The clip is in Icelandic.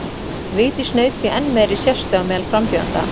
Vigdís naut því enn meiri sérstöðu á meðal frambjóðenda.